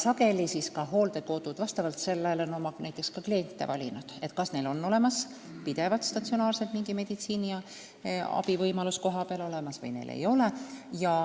Sageli on hooldekodud oma kliente valinud ka selle järgi, kas neil on pidevalt, statsionaarselt mingi meditsiiniabi kohapeal olemas või ei ole.